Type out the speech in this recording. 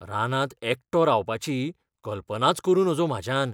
रानांत एकटो रावपाची कल्पनाच करूं नजो म्हाज्यान.